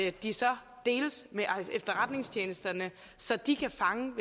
at de så deles med efterretningstjenesterne så de kan fange